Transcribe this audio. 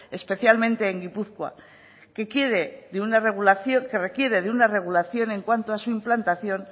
especialmente en gipuzkoa que requiere de una regulación en cuanto a su implantación